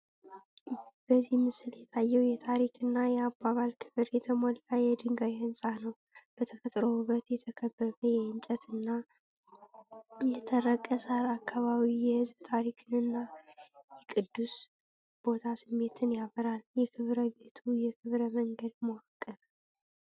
በዚህ ምስል የታየው የታሪክ እና የአባባል ክብር የተሞላ የድንጋይ ሕንጻ ነው። በተፈጥሮ ውበት የተከበበ የእንጨት እና የተረቀ ሣር አካባቢ የሕዝብ ታሪክን እና የቅዱስ ቦታ ስሜትን ያበራል። የክብረ ቤቱ የክብረ መንገድ መዋቅር፡፡